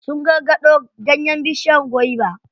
Sun karkaɗo ganyen bishiyar gwaiba.